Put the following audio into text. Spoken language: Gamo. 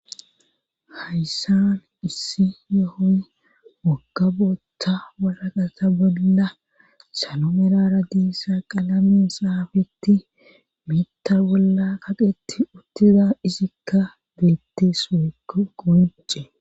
hayssan issi yohoy wagga bootta waraqata bolla salo merara diissa qalamin saafetti miitta bolla kaqetti uttida isikka beette suea qoncce